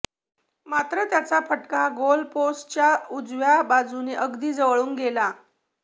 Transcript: मात्र त्याचा फटका गोलपोस्टच्या उजव्या बाजूने अगदी जवळून गेला